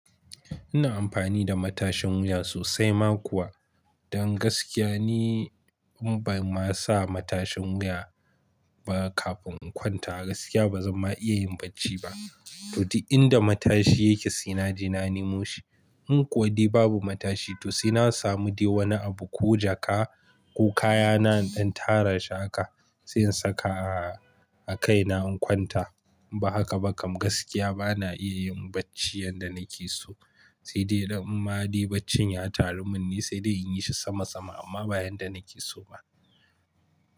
Ina amfani da matashin wuya sosai ma kuwa. Don gaskiya ni in ban ma sa matashin wuya ba kafin in kwanta gaskiya ba zan ma iya yin bacci ba. To di inda matashi yake sai naje na nemo shi. In kuwa dai babu matashi to sai na samu de wani abu ko jaka ko kayana ɗan tara haka sai in saka a kai na in kwanta. Ba haka ba kam gaskiya ba na iya yin bacci yanda nake so. Sai dai in ma de bacci ya taru mun ni sai dai in yi shi sama sama amma ba yanda nake so ba.